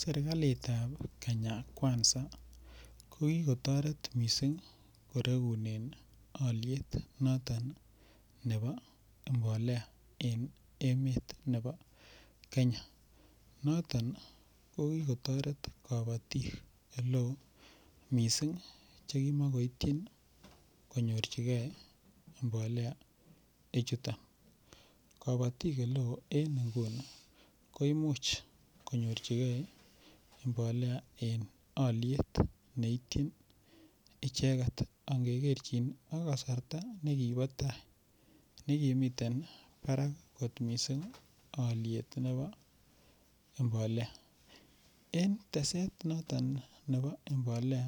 Serikalitab Kenya kwanza ko kikotoret mising' korekunen oliet noton nebo mbolea en emet nebo Kenya noton ko kikotoret kabotik ole oo mising' chekimokoityin interchange mbolea ii chuton kabotik ole oo en inguni koimuuch kanyorchigei mbolea en oliet neityin icheget angekerchin ak kasarta nekibo tai nekimitein barak kot mising' oliet nebo mbolea en teset noton nebo mbolea